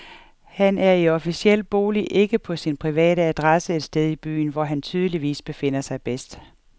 Han er i sin officielle bolig og ikke på sin private adresse et sted i byen, hvor han tydeligvis befinder sig bedst.